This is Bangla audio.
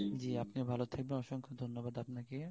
জ্বী আপনিও ভাল থাকবেন অসংখ্য ধন্যবাদ আপনাকে